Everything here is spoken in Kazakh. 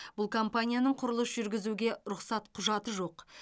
бұл компанияның құрылыс жүргізуге рұқсат құжаты жоқ